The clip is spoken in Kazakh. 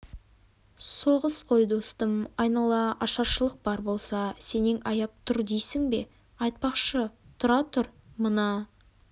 соғыс қой достым айнала ашаршылық бар болса сенен аяп тұр дейсің бе айтпақшы тұра тұр мына